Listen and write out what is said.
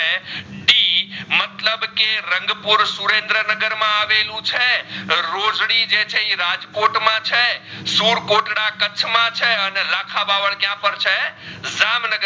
રંગપૂર સુરંદ્રનગર માં અવલુ છે. રોજડી છે એ રાજકોટ માં છે સુકોટડા કચ્છ માં છે અને રાખાબાવડ ત્યાં પણ છે જામનગર